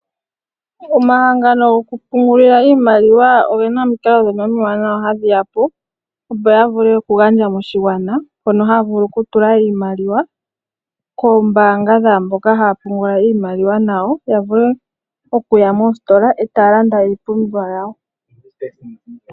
Omahangano gokupungulila iimaliwa oge na omikalo omiwanawa ndhono hadhi ya po opo ya vule okugandja moshigwana hono haya vulu okutula iimaliwa koombanga dhaamboka haya pungula iimaliwa nayo ya vule okuya mositola e taya landa iipumbiwa yawo.